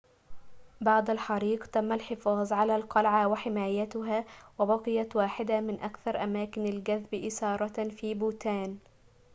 بعد الحريق تم الحفاظ على القلعة وحمايتها وبقيت واحدة من أكثر أماكن الجذب إثارةً في بوتان